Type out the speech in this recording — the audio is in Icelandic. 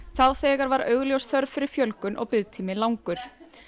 þá þegar var augljós þörf fyrir fjölgun og biðtími langur